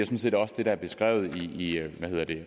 set også det der er beskrevet i